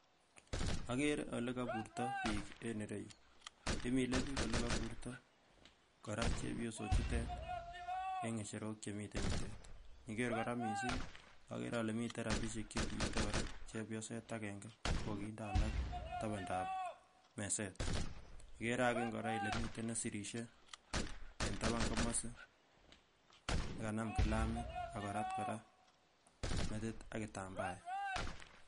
Akere ole koburto biik en ireyuu, imile biik olekoburto kora chebiosochutet en ng'echerok chemiten yutet iniker kora missing akere ale miten rapisiek chekiite kora chebioset akenge ko kokinde alak tapandaab meset, kikere akenge kele miten nesirisie en tapan komosin nekanam kilamit akorat kora metit akitambaet.